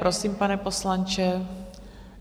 Prosím, pane poslanče.